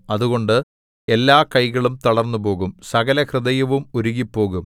അതുകൊണ്ട് എല്ലാകൈകളും തളർന്നുപോകും സകലഹൃദയവും ഉരുകിപ്പോകും